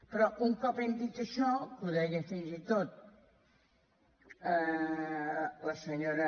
però un cop hem dit això que ho deia fins i tot la senyora